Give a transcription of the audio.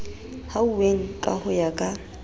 hlwauweng ka ho ya ka